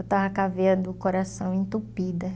Eu estava com a veia do coração entupida.